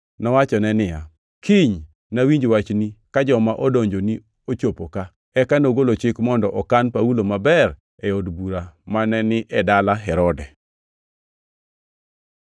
nowachone niya, “Kiny nawinj wachni ka joma odonjoni ochopo ka.” Eka nogolo chik mondo okan Paulo maber e od bura mane ni e dala Herode.